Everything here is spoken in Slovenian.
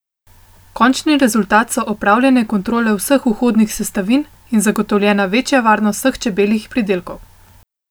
Končni rezultat so opravljene kontrole vseh vhodnih sestavin in zagotovljena varnost vseh čebeljih pridelkov.